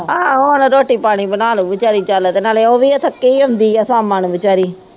ਆਹ ਓਹਨਾ ਰੋਟੀ ਪਾਣੀ ਬਣਾਲੂਗੀ ਵਿਚਾਰੀ ਚਲ ਇਹਦੇ ਨਾਲੇ ਉਹ ਵੀ ਤਾ ਥਕੀ ਹੁੰਦੀ ਆ ਸ਼ਾਮਾਂ ਨੂੰ ਵਿਚਾਰੀ